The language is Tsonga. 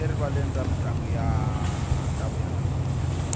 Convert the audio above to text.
erivaleni ra mintlangu ta vuya namuntlha